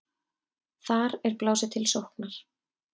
Þar er blásið til sóknar.